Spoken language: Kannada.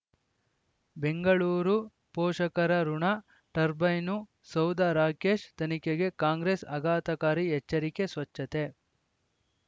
ಬೆಂಗಳೂರು ಪೋಷಕರಋಣ ಟರ್ಬೈನು ಸೌಧ ರಾಕೇಶ್ ತನಿಖೆಗೆ ಕಾಂಗ್ರೆಸ್ ಆಘಾತಕಾರಿ ಎಚ್ಚರಿಕೆ ಸ್ವಚ್ಛತೆ